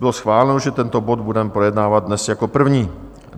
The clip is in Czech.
Bylo schváleno, že tento bod budeme projednávat dnes jako první.